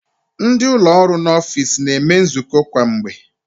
Ndị ụlọ ọrụ n'ọfiks na-eme nzukọ kwa mgbe.